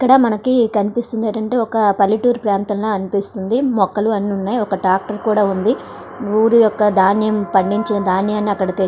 ఇక్కడ మనకు కనిపిస్తున్నది వాటి ఏంటి ఒక పల్లెటూరు ప్రాంతంలా అనిపిస్తున్నది. మొక్కలు అన్ని ఉన్నాయి. ఒక ట్రాక్టర్ ఉంది. ఊరు ఒక ధాన్యము పాడించే ధాన్యము అక్కడ తెఛ్చ--